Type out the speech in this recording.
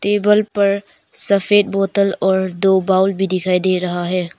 Table पर सफेद बोतल और दो बाउल भी दिखाई दे रहा है।